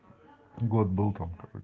год был там